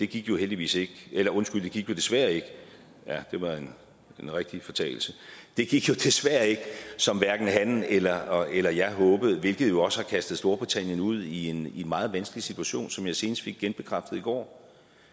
gik jo heldigvis ikke eller undskyld det gik jo desværre ikke ja det var en rigtig fortalelse det gik jo desværre ikke som hverken han eller eller jeg håbede hvilket jo også har kastet storbritannien ud i en meget vanskelig situation som jeg senest fik genbekræftet i går